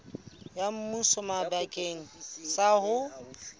ya thuso bakeng sa ho